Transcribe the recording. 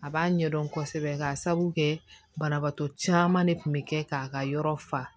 A b'a ɲɛdɔn kosɛbɛ k'a sabu kɛ banabaatɔ caman de kun bɛ kɛ k'a ka yɔrɔ fa